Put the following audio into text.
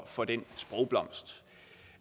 for den sprogblomst